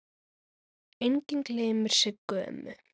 Enginn gleymir Siggu ömmu.